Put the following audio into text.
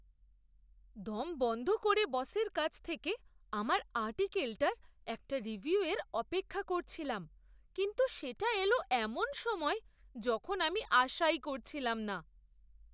দম বন্ধ করে বসের কাছ থেকে আমার আর্টিকলটার একটা রিভিউয়ের অপেক্ষা করছিলাম, কিন্তু সেটা এলো এমন সময়ে যখন আমি আশাই করছিলাম না।